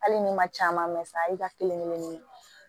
Hali ni ma caman mɛ sa a y'i ka kelen kelen